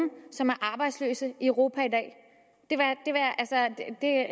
som er arbejdsløse i europa